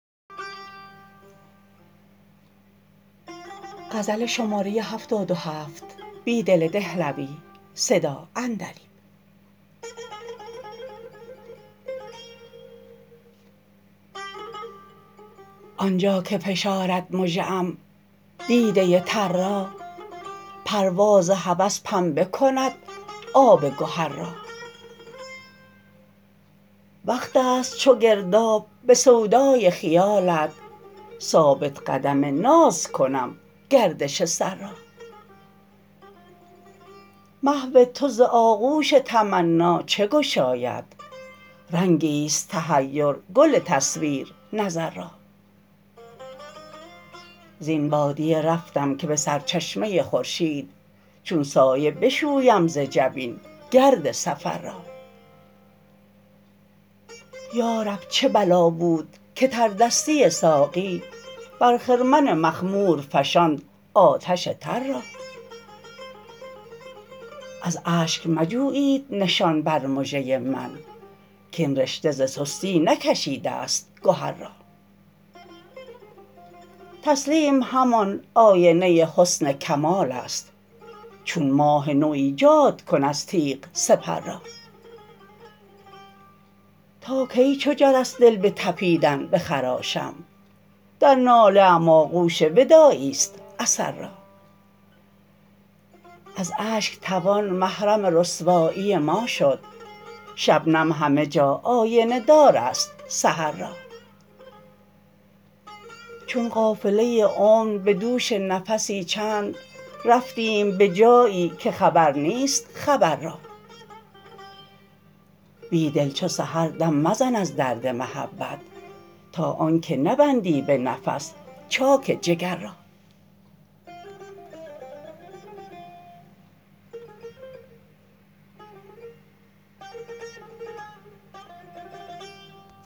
آنجا که فشارد مژه ام دیده تر را پرواز هوس پنبه کند آب گهر را وقت است چوگرداب به سودای خیالت ثابت قدم نازکنم گردش سر را محوتو ز آغوش تمنا چه گشاید رنگیست تحیرگل تصویر نظر را زین بادیه رفتم که به سرچشمه خورشید چون سایه بشویم ز جبین گرد سفر را یارب چه بلا بودکه تردستی ساقی بر خرمن مخمور فشاند آتش تر را از اشک مجوبید نشان بر مژة من کاین رشته ز سستی نکشیده ست گهر را تسلیم همان آینه حسن کمال است چون ماه نو ایجادکن از تیغ سپر را تاکی چو جرس دل به تپیدن بخراشم در ناله ام آغوش وداعیست اثر را از اشک توان محرم رسوایی ما شد شبنم همه جا آینه دارست سحر را چون قافله عمر به دوش نفسی چند رفتیم به جایی که خبر نیست خبر را بیدل چو سحر دم مزن از درد محبت تا آنکه نبندی به نفس چاک جگررا